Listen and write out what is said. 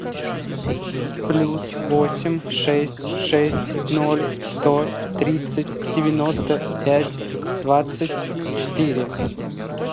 плюс восемь шесть шесть ноль сто тридцать девяносто пять двадцать четыре